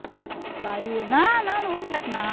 Aí eu ia não, não, não vou no médico não.